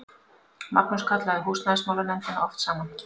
Magnús kallaði húsnæðismálanefndina oft saman.